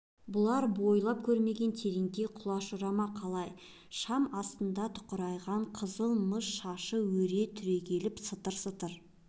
бұлар бойлап көрмеген тереңге құлаш ұра ма қалай шам астында тұқырайған қызыл мыс шашы өре түрегеліп сытыр-сытыр